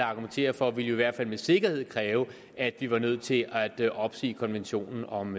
argumenterer for ville jo i hvert fald med sikkerhed kræve at vi var nødt til at opsige konventionen om